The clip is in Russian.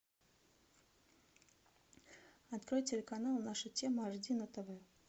открой телеканал наша тема аш ди на тв